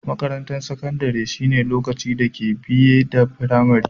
Makarantan sakandare shine lokacin da ka biye da firamari.